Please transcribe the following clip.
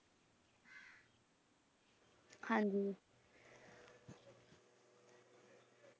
ਹਾਂਜੀ।